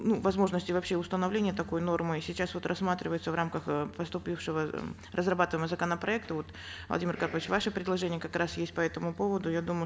ну возможности вообще установления такой нормы и сейчас вот рассматривается в рамках э поступившего разрабатываемого законопроекта вот владимир карпович ваше предложение как раз есть по этому поводу я думаю